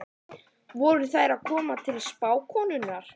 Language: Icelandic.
Voru þær að koma til spákonunnar?